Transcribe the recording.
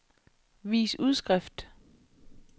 vis udskrift